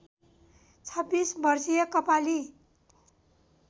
२६ वर्षीय कपाली